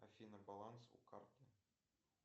афина баланс у карты